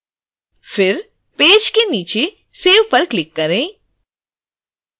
फिर पेज के नीचे save पर क्लिक करें